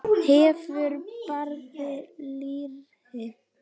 Hefur breið læri.